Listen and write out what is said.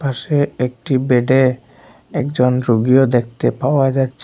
পাশে একটি বেডে একজন রুগিও দেখতে পাওয়া যাচ্চে ।